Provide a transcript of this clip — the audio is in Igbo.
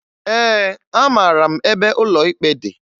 Ee, amara m ebe ụlọ ikpe dị